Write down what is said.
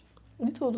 De tudo.